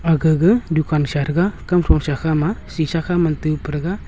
aga ga dukan sha thega kam thosa kha ma sisha khaman tupa thega.